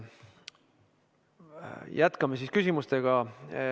Jätkame küsimustega.